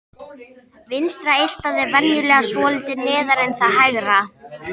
Vinstra eistað er venjulega svolítið neðar en það hægra.